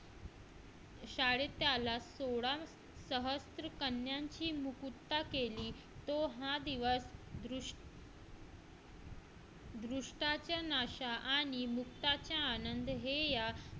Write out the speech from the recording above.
शाळेत त्याला सोडा सहस्त्रकन्यांची मुक्तता केली तो हा दिवस दृष्टाच्या नाशा आणि मुक्ताचा आनंद हे या